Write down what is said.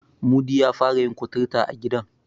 Mudi ya fara yin kuturta a gidan.